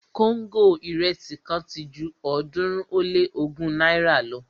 kóńgò irẹsi kan ti ju ọ̀ọ́dúnrún ó lé ogún náírà lọ